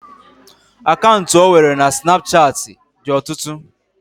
Akantu ọ nwere na snapuchat dị ọtụtụ